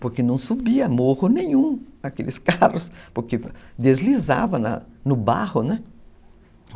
Porque não subia morro nenhum, aqueles carros, porque deslizava no barro, né?